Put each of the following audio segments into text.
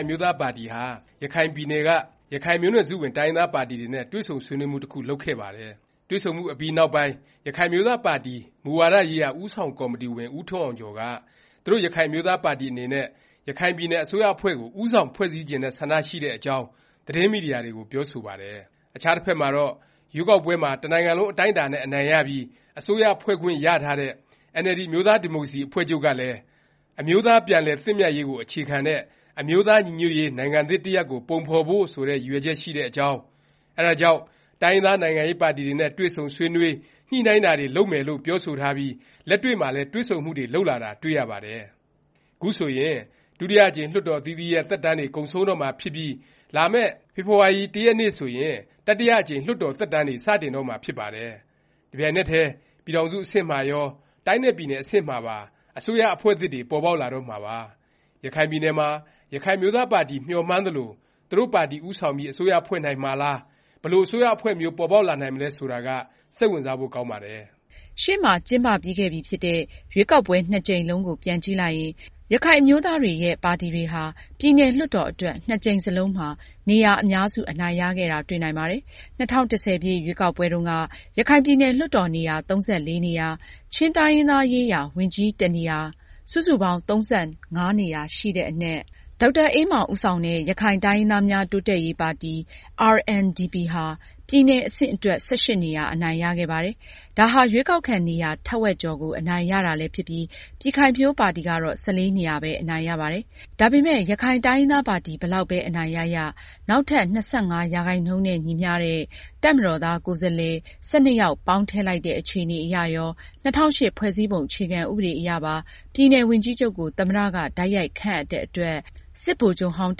င်အမျိုးသားပါတီဟာ ရခိုင်ပြည်နယ်က ရခိုင်မျိုးနွယ်စုဝင် တိုင်းရင်းသားပါတီတွေနဲ့ တွေ့ဆုံဆွေးနွေးမှု တခု လုပ်ခဲ့ပါတယ်။ တွေ့ဆုံမှုအပြီးနောက်ပိုင်း ရခိုင်အမျိုးသားပါတီ မူဝါဒရေးရာ ဦးဆောင်ကော်မတီဝင် ဦးထွန်းအောင်ကျော်က သူတို့ရခိုင်အမျိုးသားပါတီ အနေနဲ့ ရခိုင်ပြည်နယ် အစိုးရအဖွဲ့ကို ဦးဆောင် ဖွဲ့စည်းချင်တဲ့ ဆန္ဒရှိတဲ့အကြောင်း သတင်းမီဒီယာတွေကို ပြောဆိုပါတယ်။ အခြားတဖက်မှာတော့ ရွေးကောက်ပွဲမှာ တနိုင်ငံလုံး အတိုင်းအတာနဲ့ အနိုင်ရပြီး အစိုးရဖွဲ့ခွင့်ရထားတဲ့ NLD အမျိုးသားဒီမိုကရေစီ အဖွဲ့ချုပ်ကလည်း “အမျိုးသားပြန်လည်သင့်မြတ်ရေးကို အခြေခံတဲ့ အမျိုးသားညီညွတ်ရေး နိုင်ငံသစ်တရပ်ကို ပုံဖော်ဖို့” ဆိုတဲ့ ရည်ရွယ်ချက် ရှိတဲ့အကြောင်း၊ အဲဒါကြောင့် တိုင်းရင်းသား နိုင်ငံရေးပါတီတွေနဲ့ တွေ့ဆုံဆွေးနွေး၊ ညှိနှိုင်းတာတွေ လုပ်မယ်လို့ ပြောဆိုထားပြီး လက်တွေ့မှာလည်း တွေ့ဆုံမှုတွေ လုပ်လာတာ တွေ့ရပါတယ်။ ခုဆိုရင် ဒုတိယအကြိမ် လွှတ်တော် အသီးသီးရဲ့ သက်တမ်းတွေ ကုန်ဆုံးတော့မှာဖြစ်ပြီး လာမယ့် ဖေဖေါ်ဝါရီ ၁ ရက် ဆိုရင် တတိယအကြိမ် လွှတ်တော် သက်တမ်းတွေ စတင်တော့မှာ ဖြစ်ပါတယ်။ တပြိုင်နက်တည်း ပြည်ထောင်စု အဆင့်မှာရော၊ တိုင်းနဲ့ ပြည်နယ် အဆင့်မှာပါ အစိုးရအဖွဲ့သစ်တွေ ပေါ်ပေါက်လာတော့မှာပါ၊ ရခိုင်ပြည်နယ်မှာ ရခိုင်အမျိုးသားပါတီ မျှော်မှန်းသလို သူတို့ပါတီ ဦးဆောင်ပြီး အစိုးရဖွဲ့နိုင်မှာလား၊ ဘယ်လို အစိုးရအဖွဲ့မျိုး ပေါ်ပေါက်လာနိုင်မလဲ ဆိုတာက စိတ်ဝင်စားဖို့ ကောင်းပါတယ်။ ရှေ့မှာ ကျင်းပပြီးခဲ့ပြီဖြစ်တဲ့ ရွေးကောက်ပွဲ နှစ်ကြိမ်လုံးကို ပြန်ကြည့်လိုက်ရင် ရခိုင်အမျိုးသားတွေရဲ့ ပါတီတွေဟာ ပြည်နယ် လွှတ်တော် အတွက် နှစ်ကြိမ်စလုံးမှာ နေရာ အများစု အနိုင်ရခဲ့တာ တွေ့နိုင်ပါတယ်။ ၂၀၁၀ ရွေးကောက်ပွဲတုန်းက ရခိုင်ပြည်နယ် လွှတ်တော် နေရာ ၃၄ နေရာ၊ ချင်းတိုင်းရင်းသားရေးရာ ဝန်ကြီး တနေရာ စုစုပေါင်း ၃၅ နေရာ ရှိတဲ့အနက် ဒေါက်တာအေးမောင် ဦးဆောင်တဲ့ ရခိုင်တိုင်းရင်းသားများ တိုးတက်ရေးပါတီ RNDP ဟာ ပြည်နယ် အဆင့်အတွက် ၁၈ နေရာ အနိုင်ရခဲ့ပါတယ်။ ဒါဟာ ရွေးကောက်ခံ နေရာ ထက်ဝက်ကျော်ကို အနိုင်ရတာလည်းဖြစ်ပြီး ပြည်ခိုင်ဖြိုးပါတီကတော့ ၁၄ နေရာပဲ အနိုင်ရပါတယ်။ ဒါပေမယ့် ရခိုင်တိုင်းရင်းသားပါတီ ဘယ်လောက်ပဲ အနိုင်ရရ၊ နောက်ထပ် ၂၅% နဲ့ ညီမျှတဲ့ တပ်မတော်သား ကိုယ်စားလှယ် ၁၂ ယောက် ပေါင်းထည့်လိုက်တဲ့ အခြေအနေအရရော၊ ၂၀၀၈ ဖွဲ့စည်းပုံ အခြေခံ ဥပဒေအရပါ ပြည်နယ် ဝန်ကြီးချုပ်ကို သမ္မတ က တိုက်ရိုက်ခန့်အပ်တဲ့အတွက် စစ်ဗိုလ်ချုပ်ဟောင်း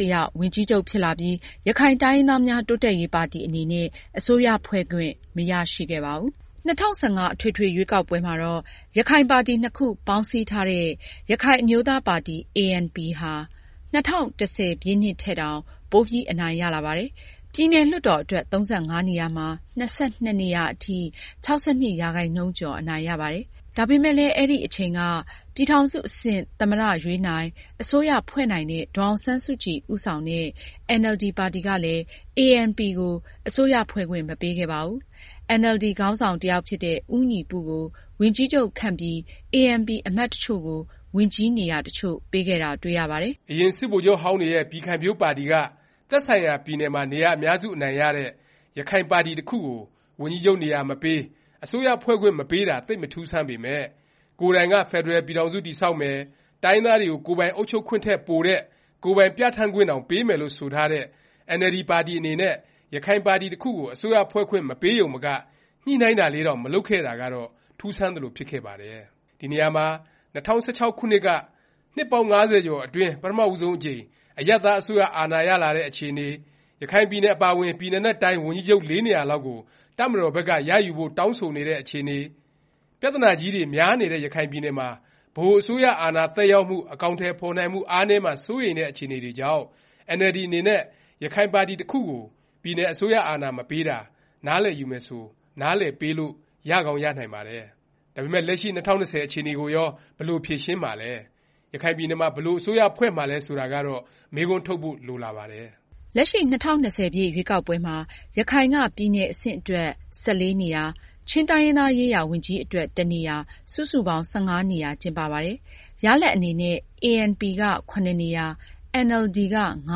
တယောက် ဝန်ကြီးချုပ် ဖြစ်လာပြီး ရခိုင်တိုင်းရင်းသားများ တိုးတက်ရေးပါတီ အနေနဲ့ အစိုးရဖွဲ့ခွင့် မရရှိခဲ့ပါဘူး။ ၂၀၁၅ အထွေထွေ ရွေးကောက်ပွဲမှာတော့ ရခိုင်ပါတီနှစ်ခု ပေါင်းစည်းထားတဲ့ ရခိုင်အမျိုးသားပါတီ ANP ဟာ ၂၀၁၀ ထက်တောင် ပိုပြီး အနိုင်ရလာပါတယ်။ ပြည်နယ် လွှတ်တော် အတွက် ၃၅ နေရာမှာ ၂၂ နေရာအထိ ၆၂% ကျော် အနိုင်ရပါတယ်။ ဒါပေမယ့်လည်း အဲဒီအချိန်က ပြည်ထောင်စု အဆင့် သမ္မတ ရွေးနိုင်၊ အစိုးရဖွဲ့နိုင်တဲ့ ဒေါ်အောင်ဆန်းစုကြည် ဦးဆောင်တဲ့ NLD ပါတီကလည်း ANP ကို အစိုးရဖွဲ့ခွင့် မပေးခဲ့ပါဘူး။ NLD ခေါင်းဆောင် တယောက်ဖြစ်တဲ့ ဦးညီပု ကို ဝန်ကြီးချုပ်ခန့်ပြီး ANP အမတ်တချို့ကို ဝန်ကြီးနေရာ တချို့ပေးခဲ့တာ တွေ့ရပါတယ်။ အရင် စစ်ဗိုလ်ချုပ်ဟောင်းတွေရဲ့ ပြည်ခိုင်ဖြိုးပါတီက သက်ဆိုင်ရာ ပြည်နယ်မှာ နေရာ အများစု အနိုင်ရတဲ့ ရခိုင်ပါတီတခုကို ဝန်ကြီးချုပ်နေရာမပေး၊ အစိုးရဖွဲ့ခွင့် မပေးတာ သိပ်မထူးဆန်းပေမယ့် ကိုယ်တိုင်က ဖက်ဒရယ်ပြည်ထောင်စု တည်ဆောက်မယ်၊ တိုင်းရင်းသားတွေကို ကိုယ်ပိုင် အုပ်ချုပ်ခွင့်ထက် ပိုတဲ့ ကိုယ်ပိုင်ပြဌာန်းခွင့်တောင် ပေးမယ်လို့ ဆိုထားတဲ့ NLD ပါတီ အနေနဲ့ ရခိုင်ပါတီတခုကို အစိုးရဖွဲ့ခွင့် မပေးရုံမက ညှိနှိုင်းတာလေးတောင် မလုပ်ခဲ့တာကတော့ ထူးဆန်းသလို ဖြစ်ခဲ့ပါတယ်။ ဒီနေရာမှာ ၂၀၁၆ ခုနှစ်က နှစ်ပေါင်း ၅၀ ကျော်အတွင်း ပထမဦးဆုံးအကြိမ် အရပ်သား အစိုးရ အာဏာရလာတဲ့ အခြေအနေ၊ ရခိုင်ပြည်နယ် အပါအဝင် ပြည်နယ်နဲ့ တိုင်း ဝန်ကြီးချုပ် ၄ နေရာလောက်ကို တပ်မတော်ဘက်က ရယူဖို့ တောင်းဆိုနေတဲ့ အခြေအနေ၊ ပြသနာကြီးတွေ များတဲ့ ရခိုင်ပြည်နယ်မှာ ဗဟိုအစိုးရ အာဏာသက်ရောက်မှု၊ အကောင်အထည် ဖော်နိုင်မှု အားနည်းမှာ စိုးရိမ်တဲ့ အခြေအနေတွေကြောင့် အင်န်အယ်လ်ဒီ အနေနဲ့ ရခိုင်ပါတီတစ်ခုကို ပြည်နယ် အစိုးရ အာဏာ မပေးတာ နားလည်ယူမယ်ဆို နားလည်ပေးလို့ ရကောင်း ရနိုင်ပါတယ်။ ဒါပေမယ့် လက်ရှိ ၂၀၂၀ အခြေအနေကိုရော ဘယ်လို ဖြေရှင်းမှာလဲ၊ ရခိုင်ပြည်နယ်မှာ ဘယ်လို အစိုးရဖွဲ့မှာလည်း ဆိုတာကတော့ မေးခွန်းထုတ်ဖို့ လိုလာပါတယ်။ လက်ရှိ ၂၀၂၀ ရွေးကောက်ပွဲမှာ ရခိုင်က ပြည်နယ် အဆင့်အတွက် ၁၄ နေရာ၊ ချင်းတိုင်းရင်းသားရေးရာ ဝန်ကြီးအတွက် တနေရာ စုစုပေါင်း ၁၅ နေရာ ကျင်းပပါတယ်။ ရလာဒ်အနေနဲ့ ANP က (၇) နေရာ၊ NLD က (၅)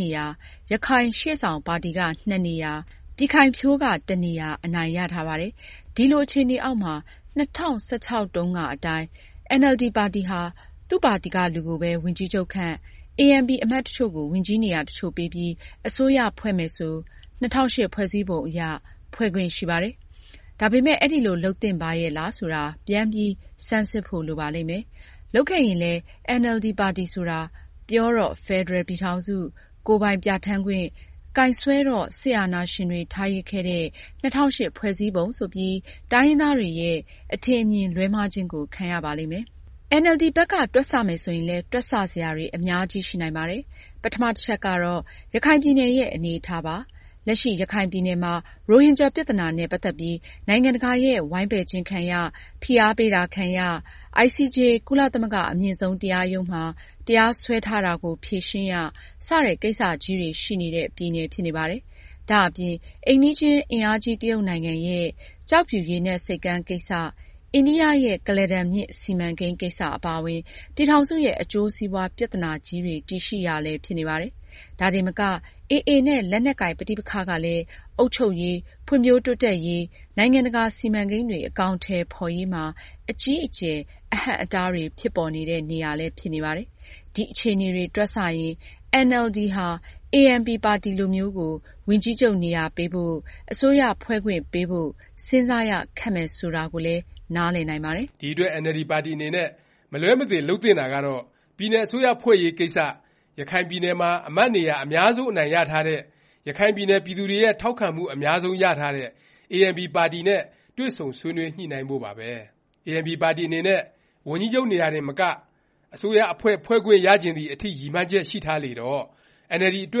နေရာ၊ ရခိုင်ရှေ့ဆောင်ပါတီက (၂) နေရာ၊ ပြည်ခိုင်ဖြိုးက တနေရာ အနိုင်ရထားပါတယ်။ ဒီလို အခြေအနေအောက်မှာ ၂၀၁၆ တုန်းကအတိုင်း NLD ပါတီဟာ သူ့ပါတီက လူကိုပဲ ဝန်ကြီးချုပ်ခန့်၊ ANP အမတ်တချို့ကို ဝန်ကြီးနေရာ တချို့ပေးပြီးအစိုးရဖွဲ့မယ်ဆို ၂၀၀၈ ဖွဲ့စည်းပုံ အရ ဖွဲ့ခွင့် ရှိပါတယ်။ ဒါပေမယ့် အဲဒီလို လုပ်သင့်ပါရဲ့လား ဆိုတာ ပြန်ပြီး ဆန်းစစ်ဖို့ လိုပါလိမ့်မယ်။ လုပ်ခဲ့ရင်လည်း NLD ပါတီဆိုတာ ပြောတော့ ဖက်ဒရယ် ပြည်ထောင်စု၊ ကိုယ်ပိုင်ပြဌာန်းခွင့်၊ ကိုင်စွဲတော့ စစ်အာဏာရှင်တွေ ထားရစ်ခဲ့တဲ့ ၂၀၀၈ ဖွဲ့စည်းပုံ ဆိုပြီး တိုင်းရင်းသားတွေရဲ့ အထင်အမြင် လွဲမှားခြင်းကို ခံရပါလိမ့်မယ်။ NLD ဘက်က တွက်ဆမယ် ဆိုရင်လည်း တွက်ဆ စရာတွေ အများကြီး ရှိနိုင်ပါတယ်။ ပထမ တချက်ကတော့ ရခိုင်ပြည်နယ်ရဲ့ အနေအထားပါ၊ လက်ရှိ ရခိုင်ပြည်နယ်မှာ ရိုဟင်ဂျာ ပြသနာနဲ့ ပတ်သက်ပြီး နိုင်ငံတကာရဲ့ ဝိုင်းပယ်ခြင်းခံရ၊ ဖိအားပေးတာ ခံရ၊ ICJ ကုလသမဂ္ဂအမြင့်ဆုံးတရားရုံးမှာ တရားစွဲထားတာကို ဖြေရှင်းရ စတဲ့ ကိစ္စကြီးတွေ ရှိနေတဲ့ ပြည်နယ် ဖြစ်နေပါတယ်။ ဒါ့အပြင် အိမ်နီးချင်း အင်အားကြီး တရုတ်နိုင်ငံရဲ့ ကျောက်ဖြူရေနက်ဆိပ်ကမ်း ကိစ္စ၊ အိန္ဒိယ ရဲ့ ကုလားတန်မြစ် စီမံကိန်း ကိစ္စ အပါအဝင် ပြည်ထောင်စုရဲ့ အကျိုးစီးပွား ပြသနာကြီးတွေ တည်ရှိရာလည်း ဖြစ်နေပါတယ်။ ဒါတင်မက AA နဲ့ လက်နက်ကိုင် ပဋိပက္ခကလည်း အုပ်ချုပ်ရေး၊ ဖွံ့ဖြိုးတိုးတက်ရေး၊ နိုင်ငံတကာ စီမံကိန်းတွေ အကောင်အထည် ဖော်ရေးမှာ အကြီးအကျယ် အဟန့်အတားတွေ ဖြစ်ပေါ်နေတဲ့ နေရာလည်း ဖြစ်နေပါတယ်။ ဒီ အခြေအနေတွေ တွက်ဆရင် NLD ဟာ ANP ပါတီလိုမျိုးကို ဝန်ကြီးချုပ်နေရာပေးဖို့၊ အစိုးရဖွဲ့ခွင့် ပေးဖို့ စဉ်းစားရခက်မယ် ဆိုတာကိုလည်း နားလည်နိုင်ပါတယ်။ ဒီအတွက် NLD ပါတီအနေနဲ့ မလွဲမသွေ လုပ်သင့်တာကတော့ ပြည်နယ် အစိုးရဖွဲ့ရေးကိစ္စ ရခိုင်ပြည်နယ်မှာ အမတ်နေရာ အများဆုံး အနိုင်ရထားတဲ့၊ ရခိုင်ပြည်နယ် ပြည်သူတွေရဲ့ ထောက်ခံမှု အများဆုံး ရထားတဲ့ ANP ပါတီနဲ့ တွေ့ဆုံညှိနှိုင်းဖို့ပါပဲ။ ANP ပါတီအနေနဲ့ ဝန်ကြီးချုပ်နေရာတင်မက အစိုးရအဖွဲ့ ဖွဲ့ခွင့်ရချင်သည် အထိ ရည်မှန်းချက်ရှိထားလေတော့ အင်န်အယ်လ်ဒီ အတွ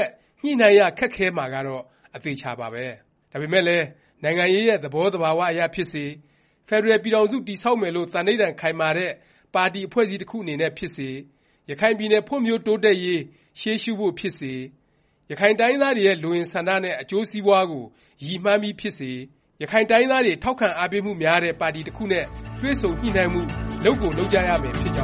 က် ညှိနှိုင်းရ ခက်ခဲမှာကတော့ အသေအခြာပါပဲ။ ဒါပေမယ့်လည်း နိုင်ငံရေးရဲ့ သဘောသဘာ၀ အရဖြစ်စေ၊ ဖက်ဒရယ် ပြည်ထောင်စု တည်ဆောက်မယ်လို့ သန္ဒိဌာန် ခိုင်မာတဲ့ ပါတီ အဖွဲ့အစည်းတစ်ခု အနေနဲ့ ဖြစ်စေ၊ ရခိုင်ပြည်နယ် ဖွံ့ဖြိုးတိုးတက်ရေး ရှေးရှုဖို့ ဖြစ်စေ၊ ရခိုင်တိုင်းရင်းသားတွေရဲ့ လိုအင်ဆန္ဒနဲ့ အကျိုးစီးပွားကို ရည်မှန်းပြီးဖြစ်စေ ရခိုင်တိုင်းရင်းသားတွေ ထောက်ခံအားပေးမှုများတဲ့ ပါတီ တစ်ခုနဲ့ တွေ့ဆုံ ညှိနှိုင်းမှု လုပ်ကို လုပ်ကြရမယ် ဖြစ်ကြောင်းပ